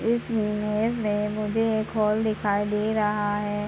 इस इमेज में मुझे एक हॉल दिखाई दे रहा है।